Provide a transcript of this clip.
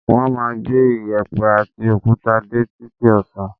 Wọ́n máa gbé iyẹ̀pẹ̀ àti òkúta dé títí ọ̀sán